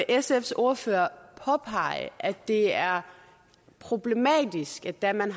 sfs ordfører påpege at det er problematisk at da man